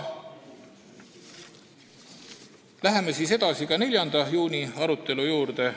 Läheme edasi, 4. juuni arutelu juurde.